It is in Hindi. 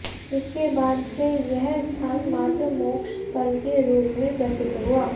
इसके बाद से यह स्थान मातृ मोक्ष स्थल के रूप में प्रसिद्ध हुआ